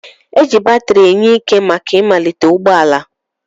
Eji batiri enye ike màkà ịmalite ụgbọala.